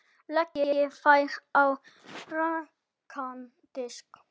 Leggið þær á rakan disk.